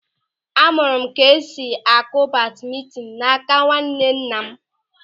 A mụrụ m ka esi akụ badmintin n'áká nwannenna m.